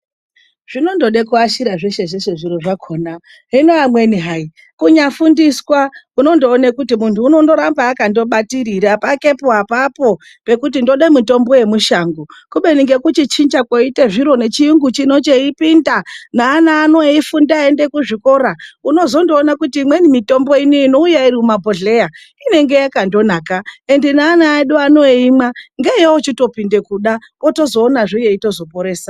Zvinondoda kuashira zveshe zveshe zviro zvakona hino amweni hai kunyafundiswa unondoona kuti mundu anondoramba akabatikira pakepo apapo pekuti ndoda mutombo yemishango. Kubeni nekuchichinja koita zviro nechiyungu chino cheipinda neana ano eifunda eienda kuzvikora. Unozondoona kuti imweni mitombo ino inouya iri mumabhohleya inenge yakanaka. Ngeana vedu vanoimwa ngeyavanopinda kuda, wozotoonazve yeitozoporesa.